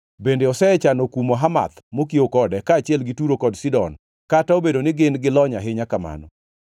bende osechano kumo Hamath mokiewo kode kaachiel gi Turo kod Sidon kata obedo ni gin gilony ahinya kamano.